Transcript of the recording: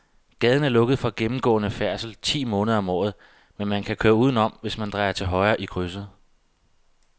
Gaden er lukket for gennemgående færdsel ti måneder om året, men man kan køre udenom, hvis man drejer til højre i krydset.